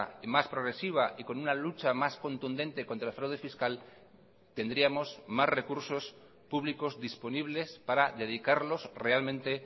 y más progresiva y con una lucha más contundente contra el fraude fiscal tendríamos más recursos públicos disponibles para dedicarlos realmente